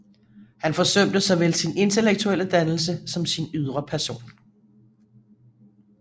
Han forsømte såvel sin intellektuelle dannelse som sin ydre person